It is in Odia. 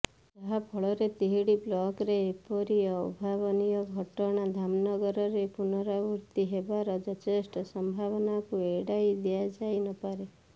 ଯାହାଫଳରେ ତିହିଡି ବ୍ଲକରେ ଏପରି ଅଭାବନୀୟ ଘଟଣା ଧାମନଗରରେ ପୁନରାବୃତ୍ତି ହେବାର ଯଥେଷ୍ଟ ସମ୍ଭାବନାକୁ ଏଡାଇ ଦିଆଯାଇ ନପାରେ